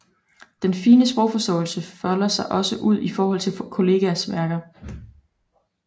Den fine sprogforståelse folder sig også ud i forhold til kollegaers værker